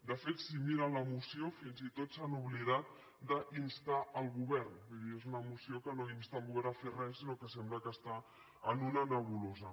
de fet si miren la moció fins i tot s’han oblidat d’instar el govern vull dir és una moció que no insta el govern a fer res sinó que sembla que està en una nebulosa